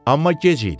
Amma gec idi.